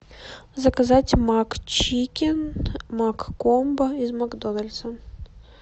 заказать макчикен маккомбо из макдональдса